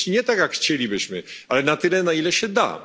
Oczywiście nie tak, jak chcielibyśmy, ale na tyle, na ile się